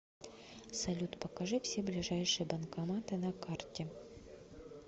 салют покажи все ближайшие банкоматы на карте